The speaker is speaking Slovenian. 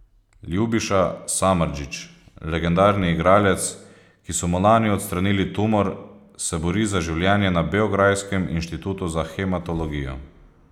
Ljubiša Samardžić, legendarni igralec, ki so mu lani odstranili tumor, se bori za življenje na beograjskem inštitutu za hematologijo.